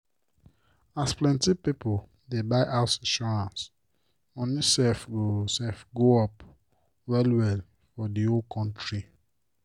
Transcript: as plenti pipo dey buy house insurance moni sef go sef go up well well for di whole kontri.